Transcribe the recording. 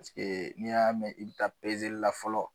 Paseke n'i y'a mɛn i bɛ taa pezeli la fɔlɔ